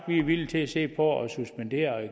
vi er villige til at se på at suspendere